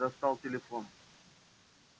бедренец достал телефон